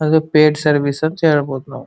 ಅದು paid service ಅಂತ ಹೇಳ್ಬಹುದು ನಾವು --